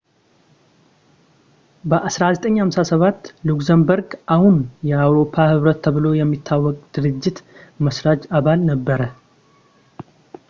በ1957 ሉክዘምበርግ አሁን የአውሮፓ ኅብረት ተብሎ የሚታወቀው ድርጅት መሥራች አባል ነበረ